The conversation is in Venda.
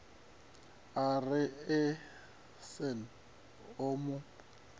a re asnath o mu